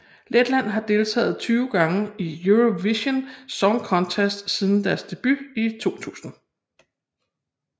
Letland har deltaget 20 gange i Eurovision Song Contest siden deres debut i 2000